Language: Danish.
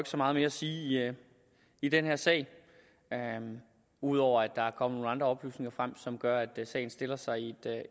så meget mere at sige i den her sag ud over at der er kommet nogle andre oplysninger frem som gør at sagen stiller sig i